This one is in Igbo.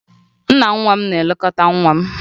Nna nwa m na-elekọta nwa m